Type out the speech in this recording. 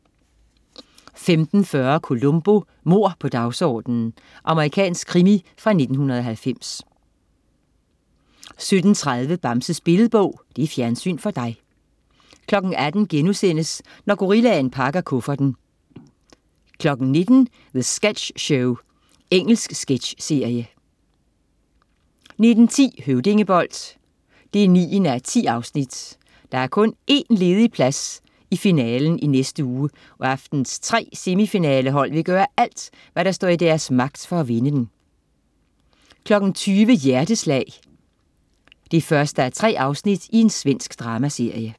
15.40 Columbo: Mord på dagsordenen. Amerikansk krimi fra 1990 17.30 Bamses billedbog. Fjernsyn for dig 18.00 Når gorillaen pakker kufferten* 19.00 The Sketch Show. Engelsk sketchserie 19.10 Høvdingebold 9:10. Der er kun én plads ledig i finalen i næste uge, og aftenens 3 semifinalehold vil gøre alt, der står i deres magt for at vinde den 20.00 Hjerteslag 1:3. Svensk dramaserie